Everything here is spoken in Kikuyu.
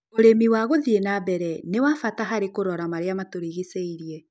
ũrĩmi wa gũthiĩ na mbere nĩ wa bata harĩ kurora marĩa matũrigicĩirie